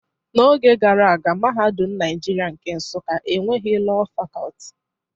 N'oge gara, Mahadum Naijiria nke Nsuka enweghị Lọọ Fakọlti.